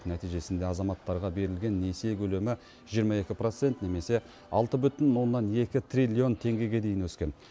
нәтижесінде азаматтарға берілген несие көлемі жиырма екі процент немесе алты бүтін оннан екі триллион теңгеге дейін өскен